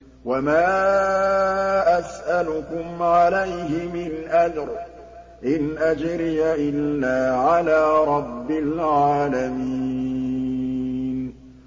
وَمَا أَسْأَلُكُمْ عَلَيْهِ مِنْ أَجْرٍ ۖ إِنْ أَجْرِيَ إِلَّا عَلَىٰ رَبِّ الْعَالَمِينَ